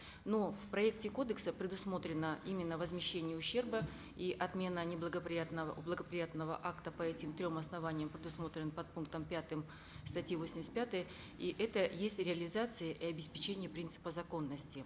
но в проекте кодекса предусмотрено именно возмещение ущерба и отмена неблагоприятного благоприятного акта по этим трем основаниям предусмотренным подпунктом пятым статьи восемьдесят пятой и это есть реализация и обеспечение принципа законности